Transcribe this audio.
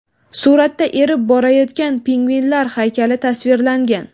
Suratda erib borayotgan pingvinlar haykali tasvirlangan.